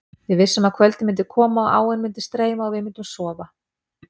Við vissum að kvöldið myndi koma og áin myndi streyma og við myndum sofa.